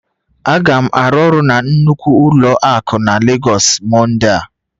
Aga m arụ ọrụ na nnukwu ụlọ akụ na Lagos Monday a